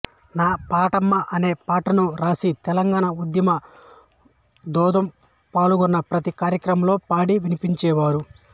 నా పాటమ్మ అనే పాటను వ్రాసి తెలంగాణ ఉద్యమ ధూంధాం పాల్గొన్న ప్రతీ కార్యక్రమంలో పాడి వినిపించేవారు